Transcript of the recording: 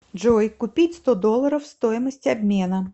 джой купить сто долларов стоимость обмена